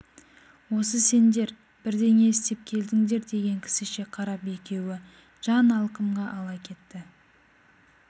осы сендер бірдеңе істеп келдіңдер деген кісіше қарап екеуі жан алқымға ала кетті